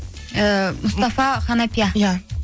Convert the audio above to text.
ііі мұстафа қанапия иә